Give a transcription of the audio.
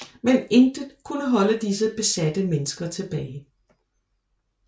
Men intet kunne holde disse besatte mennesker tilbage